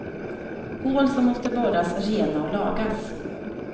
Hål som måste borras rena och lagas.